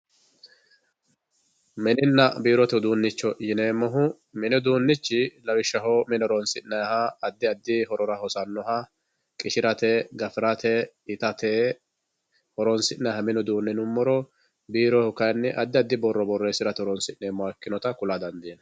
mininna biirote iduunicho yineemohu mini uduunichi lawishshaho mini horonsi'nayiiha addi addi horora hosannoha qishirate, gafirate, itate horonsi'naayiiha mini uduune yinummoro biiroyihu kayiini addi addi borro borresirate horonsi'neemoha ikkinota kula dandiinayii.